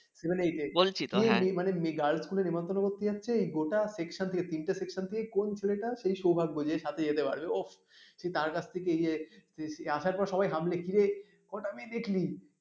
seven eight এ girls school এ নেমন্তন্ন করতে যাচ্ছে গোটা section থেকে তিনটে section থেকে কোন ছেলেটার সৌভাগ্য যে সাথে যেতে পারবে ওঃ সেই তার কাছ থেকে ইয়ে আসার পর সবাই হামলে কিরে কটা মেয়ে দেখলি?